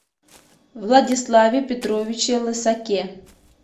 владиславе петровиче лысаке